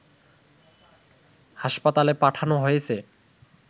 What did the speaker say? হাসপাতালে পাঠানো হয়েছে